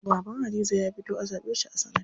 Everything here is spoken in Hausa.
Baban Hadiza ya fito a zaɓe shi a sanata.